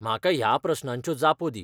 म्हाका ह्या प्रस्नांच्यो जापो दी.